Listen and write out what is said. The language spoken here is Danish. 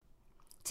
TV 2